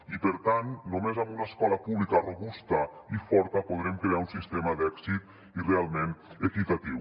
i per tant només amb una escola pública robusta i forta podrem crear un sistema d’èxit i realment equitatiu